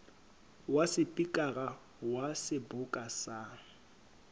wa sepikara wa seboka sa